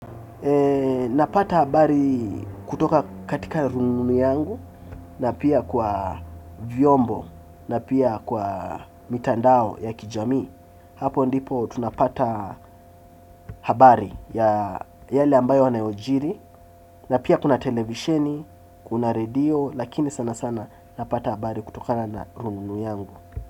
Napata habari kutoka katika rununu yangu na pia kwa vyombo na pia kwa mitandao ya kijamii. Hapo ndipo tunapata habari ya yale ambayo yanayojiri na pia kuna televisheni, kuna radio lakini sana sana napata habari kutoka na rununu yangu.